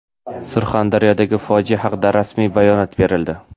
Surxondaryodagi fojia haqida rasmiy bayonot berildi.